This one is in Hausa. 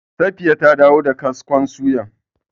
Safiya ta dawo da kaskon suyar.